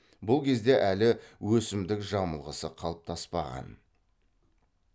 бұл кезде әлі өсімдік жамылғысы қалыптаспаған